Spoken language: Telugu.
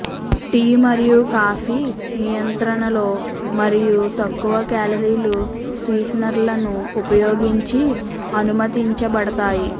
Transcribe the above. టీ మరియు కాఫీ నియంత్రణలో మరియు తక్కువ కాలరీలు స్వీటెనర్లను ఉపయోగించి అనుమతించబడతాయి